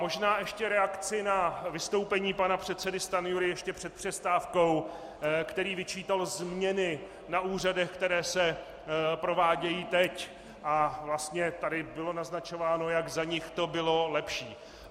Možná ještě reakci na vystoupení pana předsedy Stanjury ještě před přestávkou, který vyčítal změny na úřadech, které se provádějí teď, a vlastně tady bylo naznačováno, jak za nich to bylo lepší.